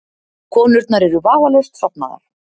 Konurnar eru vafalaust sofnaðar.